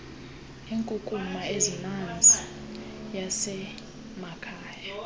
nenkunkuma emanzi yasemakhaya